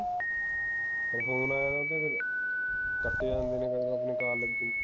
ਕੋਈ ਫੋਨ ਆਇਆ ਨਾ ਫੇਰ ਕੱਟੇ ਜਾਂਦੇ ਨੇ ਕਈ ਬਾਰ ਮੈਨੂੰ ਕਾਲ ਲੱਗੀ